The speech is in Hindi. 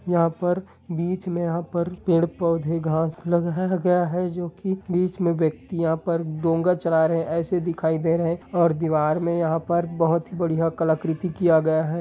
यहाँ पर बीच मे यहाँ पर पेड़-पौधे घाँस लगाया गया है जो की बीच मे व्यक्ति यहा पर डोंगा चला रहे है ऐसे दिखाई दे रहे है और दीवार में यहा पर बहुत ही बड़िया कलाकृति किया गया है।